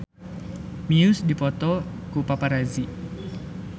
Muse dipoto ku paparazi